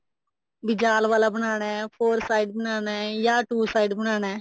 ਵੀ ਜਲ ਵਾਲਾ ਬਣਾਉਣਾ four side ਬਣਾਉਣਾ ਜਾਂ two side ਬਣਾਉਣਾ